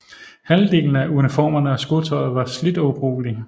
Halvdelen af uniformerne og skotøjet var slidt og ubrugelig